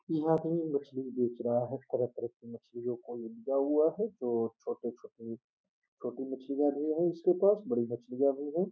यह आदमी मछली बेच रहा है। तरह-तरह की मछलियों को ये लिया हुआ है जो छोटे-छोटे छोटी मछलियां भी हैं इसके पास बड़ी मछलियां भी है।